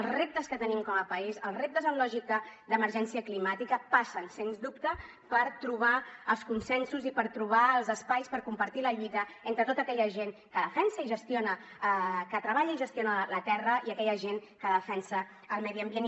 els reptes que tenim com a país els reptes en lògica d’emergència climàtica passen sens dubte per trobar els consensos i per trobar els espais per compartir la lluita entre tota aquella gent que defensa i gestiona que treballa i gestiona la terra i aquella gent que defensa el medi ambient